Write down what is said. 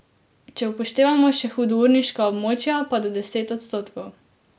Če upoštevamo še hudourniška območja, pa do deset odstotkov.